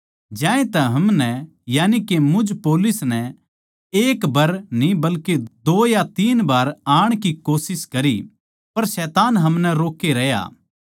ज्यांतै हमनै यानिके मुझ पौलुस नै एक बर न्ही बल्के दो या तीन बार आण की कोशिश करी पर शैतान हमनै रोक्के रहया